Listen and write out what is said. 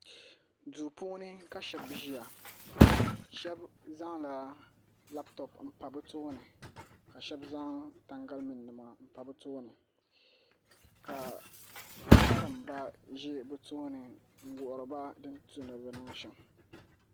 Duu puuni ka shab ʒiya shab zaŋla labtop n pa bi tooni ka shab zaŋ tangali mii nima n pa bi tooni ka bi karimba ʒi bi tooni n wuhuriba din tu ni bi niŋ shɛm